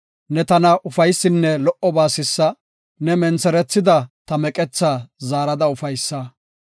Ne tana ufaysinne lo77oba sissa; ne mentherethida ta meqethaa zaarada ufaysa.